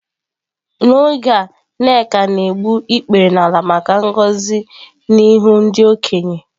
N'oge a nneka na-egbu ikpere n'ala maka ngọzi n'ihu ndị okenye.